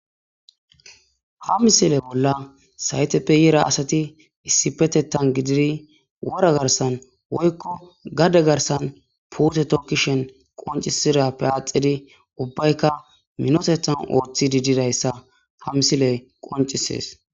ha misile bolla sayteppe yera asati issipetetan gididi wora garsan woykko gade garsan pute tookishen qoncisirappe aaxidi ubbayka minotethan ooththi diididayssa ha msile qoncisees